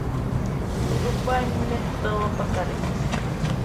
врубай металлопокалипсис